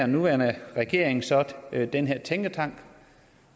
nuværende regering så den her tænketank